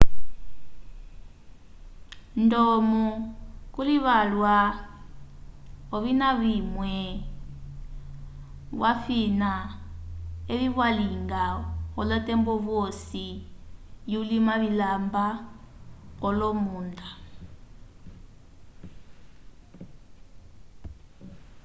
ndomo kuli vyalwa ovina vimwe vyafina evi vyalinga olotembo vyosi yu lima vilamba kolomunda